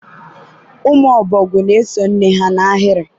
ụmụ ọbọgwu na-eso nne ha n'ahịrị.